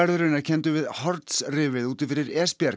er kenndur við Horns rifið úti fyrir